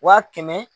Wa kɛmɛ